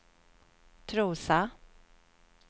Trosa